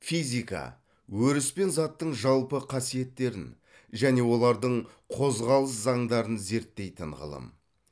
физика өріс пен заттың жалпы қасиеттерін және олардың қозғалыс заңдарын зерттейтін ғылым